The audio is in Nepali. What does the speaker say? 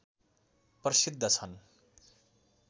प्रसिद्ध छन्